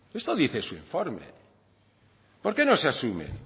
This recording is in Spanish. esto dice su informe por qué no se asumen